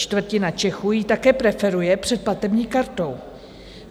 Čtvrtina Čechů ji také preferuje před platební kartou.